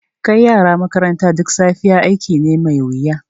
Kai yara makaranta duk safiya aiki ne mai wuya.